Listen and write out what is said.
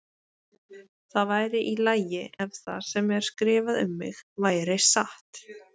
Það væri í lagi ef það sem er skrifað um mig væri satt.